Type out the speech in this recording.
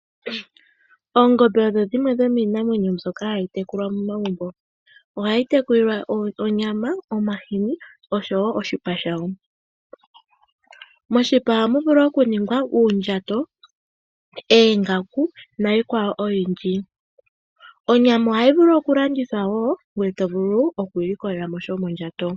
Oongombe odho dhimwe dhomiinamwenyo mbyoka hayi tekulwa momagumbo. Ohayi tekulilwa onyama, omahini, oshowo oshipa shayo. Moshipa ohamu vulu okuningwa oondjato, oongaku niikwawo oyindji. Onyama ohayi landithwa wo ngoye to vulu oku ilikolela mo sha shomondjato.